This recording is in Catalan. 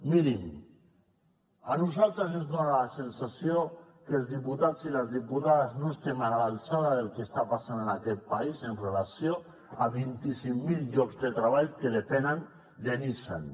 mirin a nosaltres ens dona la sensació que els diputats i les diputades no estem a l’alçada del que està passant en aquest país amb relació a vint cinc mil llocs de treball que depenen de nissan